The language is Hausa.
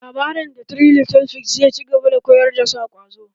Labarin "The three little figs" zai ci gaba da koyar da sa ƙwazo